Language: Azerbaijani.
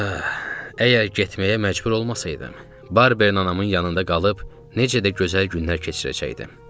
Əgər getməyə məcbur olmasaydım, Barber anamın yanında qalıb necə də gözəl günlər keçirəcəkdim.